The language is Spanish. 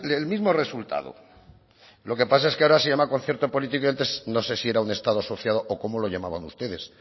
el mismo resultado lo que pasa es que ahora se llama concierto político y antes no sé si era un estado asociado o cómo lo llamaban ustedes